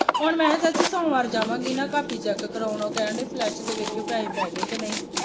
ਹੁਣ ਮੈਂ ਕਿਹਾ ਚਾਚੀ ਸੋਮਵਾਰ ਜਾਵਾਂਗੀ ਨਾ ਕਾਪੀ ਚੈੱਕ ਕਰਾਉਣ ਉਹ ਕਹਿਣ ਡਏ ਫਲਸ਼ ਦੇ ਵੇਖਿਓ ਪੈਹੇ ਪੈ ਗਏ ਕਿ ਨਹੀਂ।